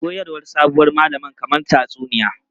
Koyarwar sabuwar malaman kamar tatsuniya.